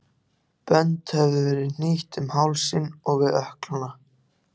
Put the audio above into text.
Bönd höfðu verið hnýtt um hálsinn og við ökklana.